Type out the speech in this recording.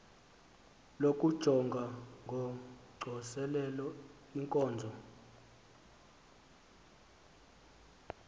lokujonga ngocoselelo iinkonzo